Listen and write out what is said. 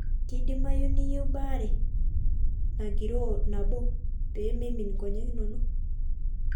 Keidimayu niyieu baare nagiroo nabo pee meimin nkonyek inono.